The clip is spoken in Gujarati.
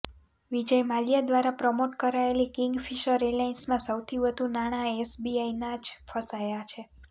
વિજય માલ્યા દ્વારા પ્રમોટ કરાયેલી કિંગફિશર એરલાઇન્સમાં સૌથી વધુ નાણાં એસબીઆઇના જ ફસાયાં છે